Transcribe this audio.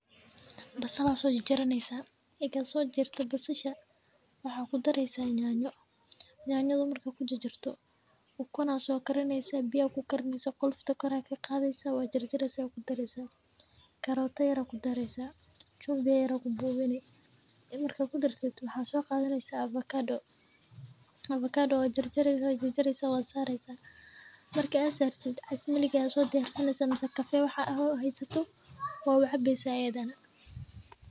Basalaha soo jar jara naysa, eega soo jarta basasha waxaa ku daraysa nyaaanyo. nyaanyada markaa ku jajarto ukun aa soo karinaysa biyo ku karinaysa qolofta kor aya qaadaysa waa jar jaraysa oo ku daraysa, carrot ayaa ku daraysa, chumvi yer ayaa ku buuganay. Markuu ku daro waxaan soo qaadanyahay avocado. Avocado ya jar jar jiraysa oo saaraystay. Markii aan sartay casmali gaasoo diyaarsanaya samso qaxwa waxa ahay hasto, oo waxa bisee ena.